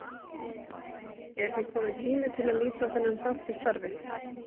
Er því kominn tími til að líta á þennan þátt í starfi